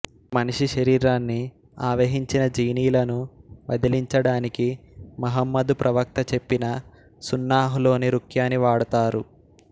మనిషి శరీరాన్ని ఆవహించిన జీనీలను వదిలించడానికి మహమ్మదు ప్రవక్త చెప్పిన సున్నాహ్ లోని రుఖ్యాని వాడతారు